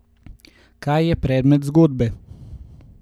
Kaj je predmet zgodbe?